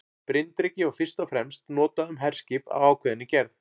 Bryndreki var fyrst og fremst notað um herskip af ákveðinni gerð.